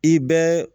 I bɛɛ